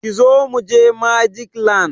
Kizo mu je Magic land!